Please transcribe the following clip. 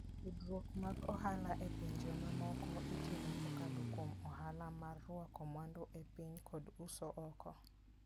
Tudruok mag ohala e pinje mamoko itimo kokalo kuom ohala mar rwako mwandu e piny kod uso oko.